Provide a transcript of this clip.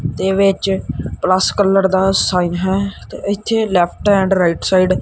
ਦੇ ਵਿੱਚ rust colour ਦਾ ਸਾਈਨ ਹੈ ਤੇ ਇੱਥੇ ਲੈਫਟ ਐਂਡ ਰਾਈਟ ਸਾਈਡ --